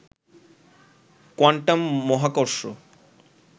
quantum মহাকর্ষ